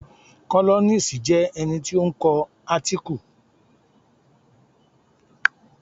Kólọ́nisi jẹ́ ẹni tí ó ń kọ átíkù fún títẹ̀ jáde ní sísẹ̀ n tẹ̀lẹ́